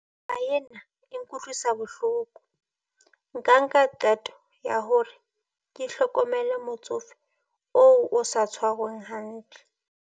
Ena e nkutlwisa bohloko. Nka nka qeto ya hore ke hlokomele motsofe oo o sa tshwarweng hantle.